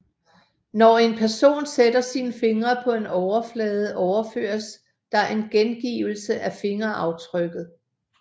Når en person sætter sin finger på en overflade overføres der en gengivelse af fingeraftrykket